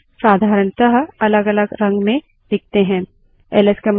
files और subdirectories साधारणतः अलगअलग रंग में दिखते हैं